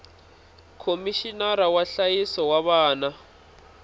khomixinara wa nhlayiso wa vana